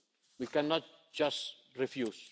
something. We cannot just